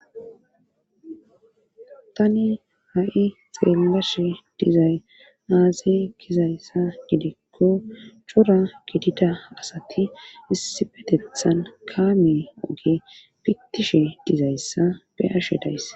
Tani ha'i xeellashe dizay aaze kizayssa gidekko cura gidida asati issifetethan kaame oge pittishe dizayssa be ashedays.